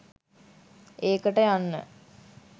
ඒකට යන්න